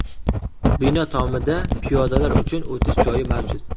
Bino tomida piyodalar uchun o‘tish joyi mavjud.